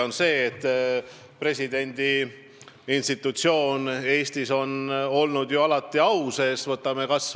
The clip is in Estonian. On selge, et presidendi institutsioon Eestis on alati au sees olnud.